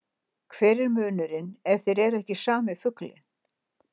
Hver er munurinn ef þeir eru ekki sami fuglinn?